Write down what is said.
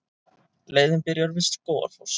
Leiðin byrjar við Skógafoss.